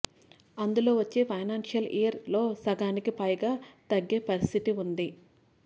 అందులో వచ్చే financial year లో సగానికి పైగా తగ్గే పరిస్థితి ఉంది